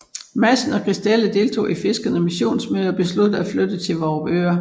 Madsen og Christella deltog i fiskernes missionsmøder og besluttede at flytte til Vorupør